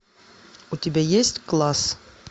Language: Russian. у тебя есть класс